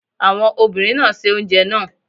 Àwọn obìnrin náà se oúnjẹ náà.